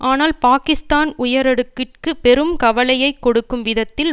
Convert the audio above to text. ஆனால் பாக்கிஸ்தான் உயரடுக்கிற்கு பெரும் கவலையை கொடுக்கும் விதத்தில்